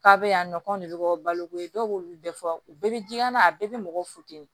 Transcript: K'a bɛ yan nɔ k'anw de bɛ bɔ baloko ye dɔw b'olu bɛɛ fɔ u bɛɛ bɛ jikalan na a bɛɛ bɛ mɔgɔw futeni